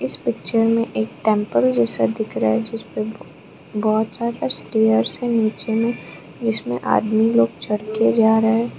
इस पिक्चर में एक टेंपल जैसा दिख रहा है जिस पर बहोत ज्यादा स्टार्स से नीचे में इसमें आदमी लोग चढ़कर जा रहे हैं।